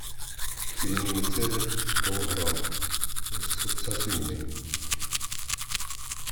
пельмени цезарь сто грамм со свининой